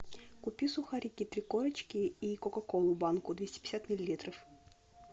купи сухарики три корочки и кока колу банку двести пятьдесят миллилитров